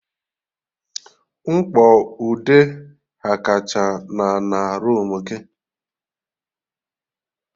Mkpọ ude ghakacha na ana roomu gị